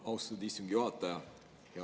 Austatud istungi juhataja!